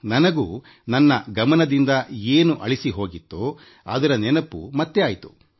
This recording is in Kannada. ನನಗೂ ನನ್ನ ಮನದಿಂದ ಅಳಿಸಿ ಹೋಗಿದ್ದ ನೆನಪು ಮರುಕಳಿಸಿತು